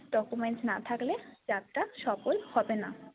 documents না থাকলে যাত্রা সফল হবেনা।